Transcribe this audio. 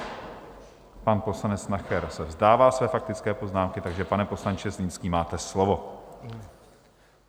Pan poslanec Nacher se vzdává své faktické poznámky, takže, pane poslanče Zlínský, máte slovo.